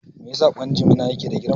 Me yasa ƙwan jimina yake da girma?